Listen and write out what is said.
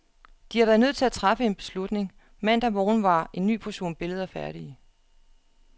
De har været nødt til at træffe en beslutning. Mandag morgen var en ny portion billeder færdige.